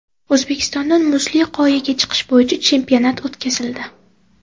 O‘zbekistonda muzli qoyaga chiqish bo‘yicha chempionat o‘tkazildi.